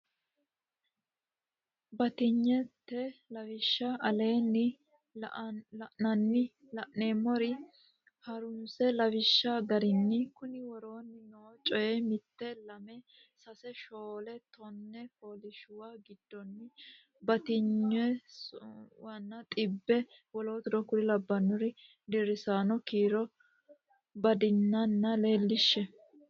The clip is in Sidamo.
batinyisaanote lawishsha aleenni la inoonni eema onna ha runse lawishshi garinni konni woroonni noo coy Mitte lame sase shoole tone fooliishshuwa giddonni batinyisaanonna xibbe w k l deerrisaano kiiro baddinanni leellishshe.